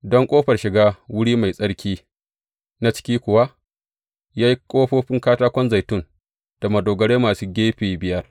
Don ƙofar shiga wuri mai tsarki na ciki kuwa, ya yi ƙofofin katakon zaitun da madogarai masu gefe biyar.